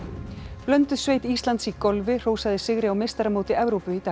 blönduð sveit Íslands í golfi hrósaði sigri á meistaramóti Evrópu í dag